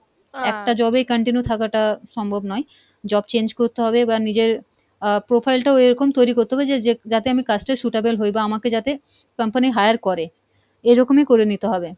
একটা job এ continue থাকা টা সম্ভব নয়, job change করতে হবে, এবার নিজের আহ profile টাও এরকম তৈরি করতে হবে যে যে যাতে আমি কাজটার suitable হয় বা আমাকে যাতে company hire করে, এরকমই করে নিতে হবে।